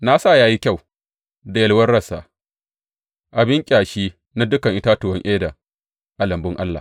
Na sa ya yi kyau da yalwar rassa, abin ƙyashi na dukan itatuwan Eden a lambun Allah.